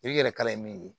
I yɛrɛ kala ye min ye